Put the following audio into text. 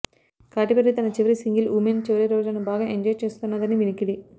కాటి Perry తన చివరి single women చివరి రోజులను బాగా ఎంజాయ్ చేస్తున్నదని వినికిడి